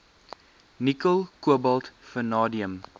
nikkel kobalt vanadium